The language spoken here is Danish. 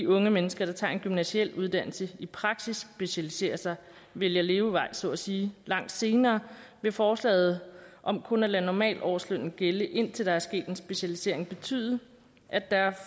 unge mennesker der tager en gymnasial uddannelse i praksis specialiserer sig vælger levevej så at sige langt senere vil forslaget om kun at lade normalårslønnen gælde indtil der er sket en specialisering betyde at der